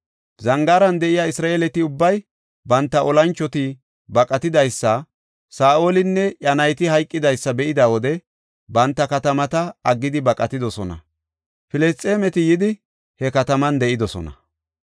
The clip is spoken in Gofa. Zangaaran de7iya Isra7eeleti ubbay banta olanchoti baqatidaysa, Saa7olinne iya nayti hayqidaysa be7ida wode banta katamata aggidi baqatidosona. Filisxeemeti yidi he katamatan de7idosona.